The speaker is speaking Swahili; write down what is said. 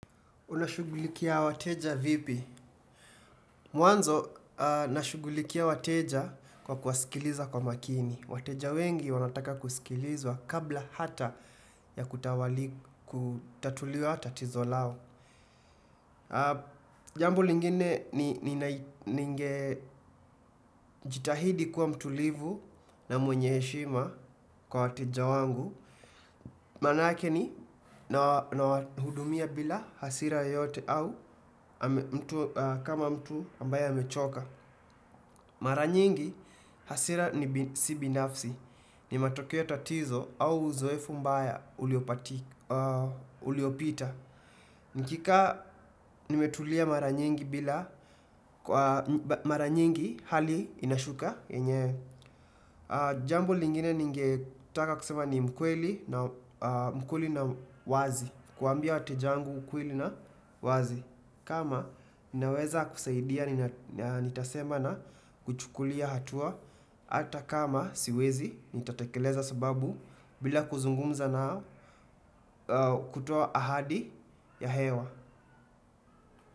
Unashugulikia wateja vipi? Mwanzo, nashugulikia wateja kwa kuasikiliza kwa makini. Wateja wengi wanataka kusikilizwa kabla hata ya kutatuliwa tatizo lao. Jambo lingine ni ninge jitahidi kuwa mtulivu na mwenye eshima kwa wateja wangu. Manake nina hudumia bila hasira yoyote au kama mtu ambaye hamechoka. Mara nyingi hasira ni si binafsi. Ni matokeo tatizo au uzoefu mbaya uliopita. Nikikaa nimetulia mara nyingi bila kwa mara nyingi hali inashuka. yenyewe jambo lingine ningetaka kusema ni mkweli na mkweli na wazi. Kuambia watejangu ukweli na wazi kama naweza kusaidia nitasema na kuchukulia hatua. Ata kama siwezi nitatekeleza sababu bila kuzungumza na kutoa ahadi ya hewa.